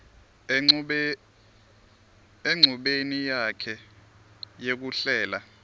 enchubeni yakhe yekuhlela